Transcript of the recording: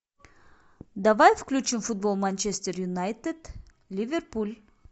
давай включим футбол манчестер юнайтед ливерпуль